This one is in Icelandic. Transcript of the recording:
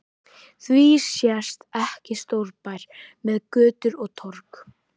Því sést ekki stórbær með götur og torg?